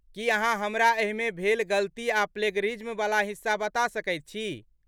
की अहाँ हमरा एहिमे भेल गलती आ प्लेजरिज्मवला हिस्सा बता सकैत छी?